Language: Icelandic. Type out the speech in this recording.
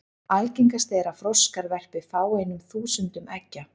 Algengast er að froskar verpi fáeinum þúsundum eggja.